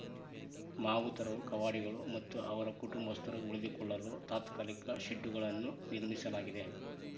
ಮಾವುತರು ಕಾವಾಡಿಗಳು ಮತ್ತು ಅವರ ಕುಟಂಬಸ್ಥರು ಉಳಿದುಕೊಳ್ಳಲು ತಾತ್ಕಾಲಿಕ ಶೆಡ್ಡುಗಳನ್ನು ನಿರ್ಮಿಸಲಾಗಿದೆ